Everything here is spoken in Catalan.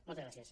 moltes gràcies